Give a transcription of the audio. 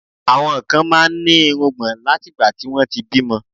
Àwọn kan máa ń ní irùngbọ̀n látìgbà tí wọ́n ti bímọ